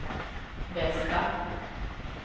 bästa